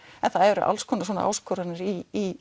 en það eru alls konar svona áskoranir í